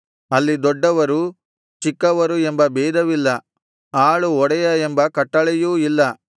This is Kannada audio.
ಅಲ್ಲಿ ದೊಡ್ಡವರು ಚಿಕ್ಕವರು ಎಂಬ ಭೇದವಿಲ್ಲಾ ಆಳು ಒಡೆಯ ಎಂಬ ಕಟ್ಟಳೆಯೂ ಇಲ್ಲ